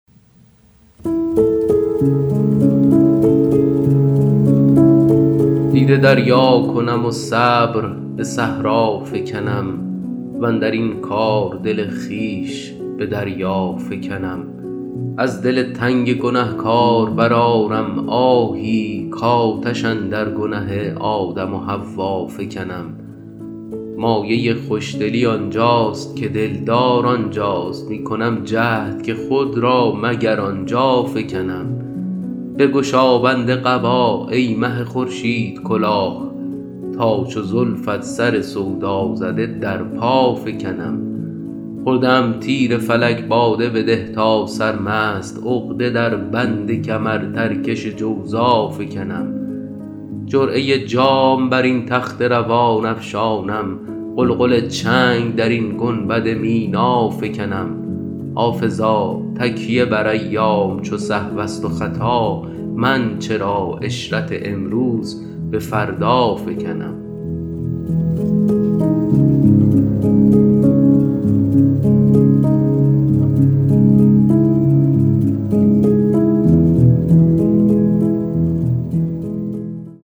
دیده دریا کنم و صبر به صحرا فکنم واندر این کار دل خویش به دریا فکنم از دل تنگ گنه کار برآرم آهی کآتش اندر گنه آدم و حوا فکنم مایه خوش دلی آن جاست که دل دار آن جاست می کنم جهد که خود را مگر آن جا فکنم بگشا بند قبا ای مه خورشیدکلاه تا چو زلفت سر سودا زده در پا فکنم خورده ام تیر فلک باده بده تا سرمست عقده در بند کمرترکش جوزا فکنم جرعه جام بر این تخت روان افشانم غلغل چنگ در این گنبد مینا فکنم حافظا تکیه بر ایام چو سهو است و خطا من چرا عشرت امروز به فردا فکنم